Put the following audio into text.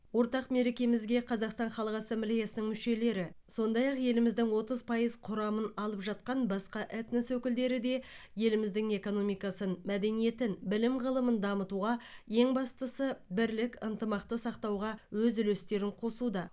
ортақ мерекемізге қазақстан халық ассамблеясының мүшелері сондай ақ еліміздің отыз пайыз құрамын алып жатқан басқа этнос өкілдері де еліміздің экономикасын мәдениетін білім ғылымын дамытуға ең бастысы бірлік ынтымақты сақтауға өз үлестерін қосуда